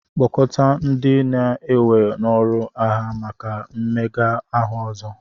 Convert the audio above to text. kpọkọta ndị a na-ewe n'ọrụ agha maka mmega ahụ ọzọ